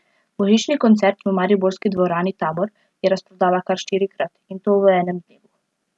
Božični koncert v mariborski dvorani Tabor je razprodala kar štirikrat, in to v enem dnevu.